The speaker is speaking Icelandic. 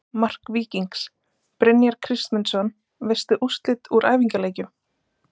Mark Víkings: Brynjar Kristmundsson Veistu úrslit úr æfingaleikjum?